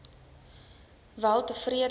weltevrede